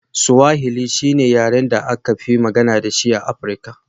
Swahili shi ne yaren da aka fi magana da shi a Afirka.